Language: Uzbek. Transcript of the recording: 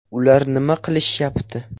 Ular nima qilishyapti?